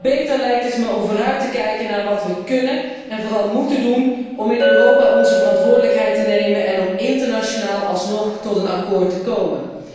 Beter lijkt het me om vooruit te kijken naar wat we kunnen en vooral móeten doen om in Europa onze verantwoordelijkheid te nemen en om internationaal alsnog tot een akkoord te komen.